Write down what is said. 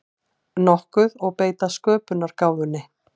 nokkuð og beita sköpunargáfunni.